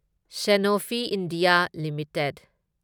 Sanofi India limited